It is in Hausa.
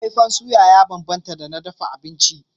Faifan suya ya bambanta da na dafa abinci.